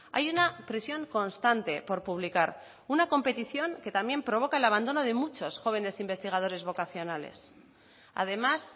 hay una presión constante por publicar una competición que también provoca el abandono de muchos jóvenes investigadores vocacionales además